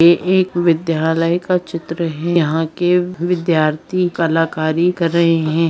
ये एक विद्यालय का चित्र है यहां के विद्यार्थी कलाकारी कर रहे हैं।